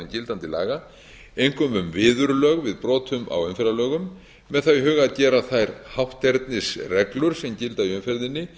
gildandi laga einkum um viðurlög við brotum á umferðarlögum með það í huga að gera þær hátternisreglur sem gilda í umferðinni